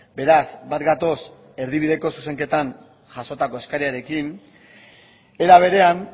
beraz bat gatoz erdibideko zuzenketan jasotako eskariarekin era berean